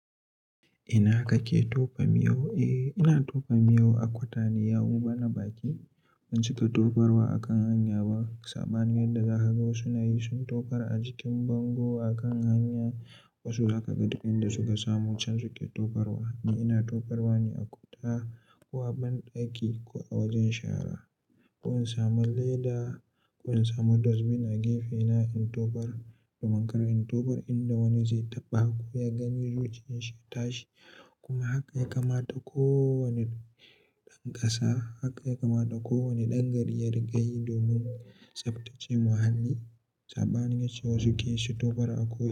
Ina kake tofa miyo? Eh, ina tofa miyo a kwata ne, yawanci bana bakin. Ban cika tofarwa a kan hanya ba sabanin yadda za ka ga wasu na yi, sun tofar a jikin bango a kan hanya. Wasu zaka ka ga duk inda suka samu can suke tofarwa. Ni ina tofarwa ne a kwata ko a banɗaki ko a wajen shara. Ko in samu leda ko in samu dustbin a gefe na in tofar domin kar in tofar inda wani zai taɓa ko ya gani jikin shi ya tashi. Kuma haka ya kamata kowane ɗan ƙasa. Haka ya kamata kowane ɗan gari ya riƙe yi domin tsaftace muhalli sabanin yace wasu ke shito fara a ko ina.